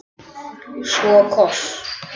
Svo koss.